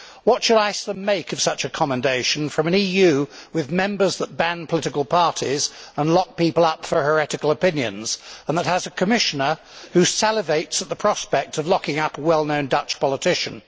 What should Iceland make of such a commendation from an EU with Member States that ban political parties and lock people up for heretical opinions and that has a Commissioner who salivates at the prospect of locking up a well known Dutch politician?